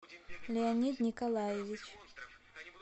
леонид николаевич